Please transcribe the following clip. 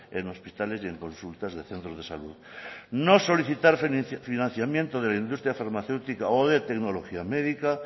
en hospitales y consultas de centros de salud no solicitar financiamiento de la industria farmacéutica o de tecnología médica